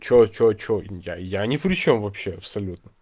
что что что я я не причём вообще абсолютно